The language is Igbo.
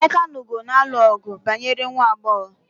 Emeka na Ugo na-alụ ọgu banyere nwa agbọghọ.